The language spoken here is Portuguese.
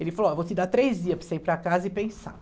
Ele falou, ó, eu vou te dar três dias para você ir para casa e pensar.